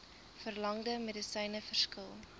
verlangde medisyne verskil